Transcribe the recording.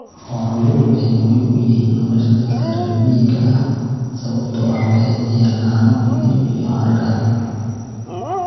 Xooluhu waxay muhiim u yihiin nolosha dadka reer miyiga ah sababtoo ah waxay bixiyaan caano, hilib, iyo hargaha